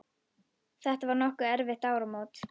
Þetta var nokkru eftir áramót.